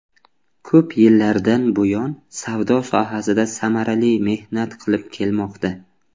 Ko‘p yillardan buyon savdo sohasida samarali mehnat qilib kelmoqda.